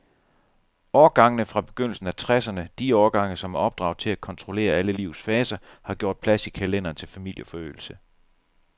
Årgangene fra begyndelsen af tresserne, de årgange, som er opdraget til at kontrollere alle livets faser, har gjort plads i kalenderen til familieforøgelse.